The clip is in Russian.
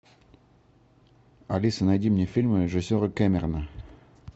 алиса найди мне фильмы режиссера кэмерона